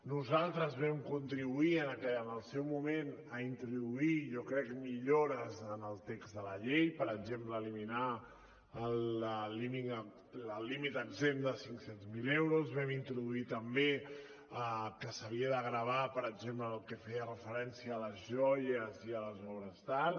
nosaltres vam contribuir en el seu moment a introduir jo crec millores en el text de la llei per exemple eliminar el límit exempt de cinc cents mil euros vam introduir també que s’havia de gravar per exemple el que feia referència a les joies i a les obres d’art